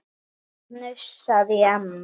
Það hnussar í Hemma.